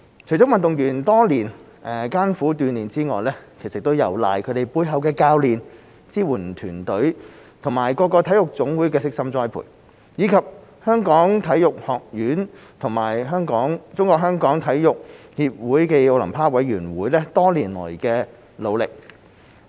除了運動員多年來艱苦鍛鍊之外，亦有賴他們背後的教練、支援團隊和各體育總會的悉心栽培，以及香港體育學院和中國香港體育協會暨奧林匹克委員會多年來的努力。